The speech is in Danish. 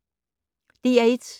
DR1